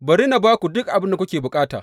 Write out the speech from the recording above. Bari ni ba ku duk abin da kuke bukata.